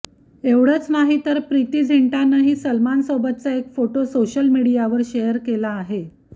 एवढंच नाही तर प्रीती झिंटानंही सलमान खानसोबतचा एक फोटो सोशल मीडियावर शेअर केला आहे